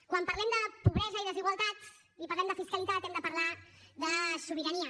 quan parlem de pobresa i desigualtat i parlem de fiscalitat hem de parlar de sobirania